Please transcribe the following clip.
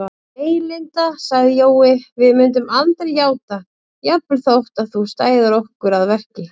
Nei, Linda sagði Jói, við myndum aldrei játa, jafnvel þótt þú stæðir okkur að verki